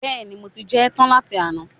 Bẹ́ẹ̀ni, mo ti jẹ ẹ́ tán láti àná